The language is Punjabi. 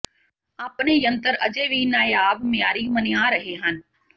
ਆਪਣੇ ਯੰਤਰ ਅਜੇ ਵੀ ਨਾਇਆਬ ਮਿਆਰੀ ਮੰਨਿਆ ਰਹੇ ਹਨ